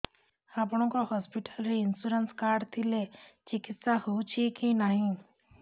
ଆପଣଙ୍କ ହସ୍ପିଟାଲ ରେ insurance card ଥିଲେ ଚିକିତ୍ସା ହେଉଛି କି ନାଇଁ